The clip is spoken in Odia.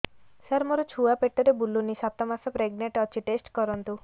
ସାର ମୋର ଛୁଆ ପେଟରେ ବୁଲୁନି ସାତ ମାସ ପ୍ରେଗନାଂଟ ଅଛି ଟେଷ୍ଟ କରନ୍ତୁ